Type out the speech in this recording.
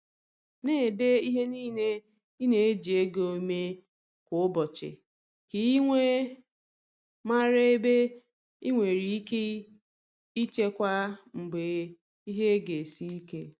Na-ede ihe niile i na-eji ego mee kwa ụbọchị, ka i wee mara ebe i nwere ike ichekwa mgbe ihe ga esi ike.